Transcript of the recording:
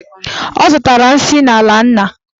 Ọ zọtara nsị n'ala nna.